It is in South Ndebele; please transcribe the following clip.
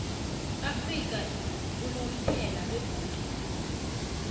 afrika unomphela begodu